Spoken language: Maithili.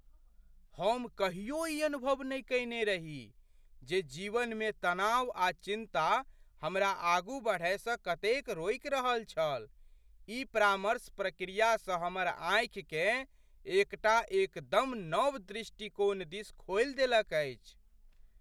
हम कहियो ई अनुभव नहि कएने रही जे जीवनमे तनाव आ चिन्ता हमरा आगू बढ़यसँ कतेक रोकि रहल छल। ई परामर्श प्रक्रियासँ हमर आँखिकेँ एकटा एकदम नव दृष्टिकोण दिस खोलि देलक अछि।